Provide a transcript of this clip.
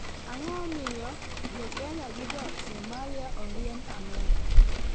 Ang'o ma omiyo jo kenya gi josomali oriemb amerka?